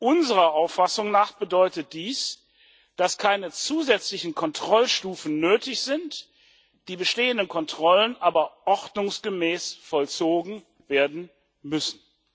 Unserer Auffassung nach bedeutet dies, dass keine zusätzlichen Kontrollstufen nötig sind, die bestehenden Kontrollen aber ordnungsgemäß vollzogen werden müssen.